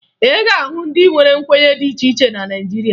Ị ga-ahụ ndị nwere nkwenye dị iche iche na Naịjirịa